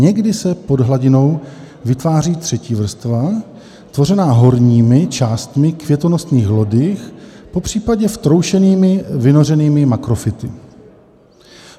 Někdy se pod hladinou vytváří třetí vrstva, tvořená horními částmi květonosných lodyh, popřípadě vtroušenými vynořenými makrofyty.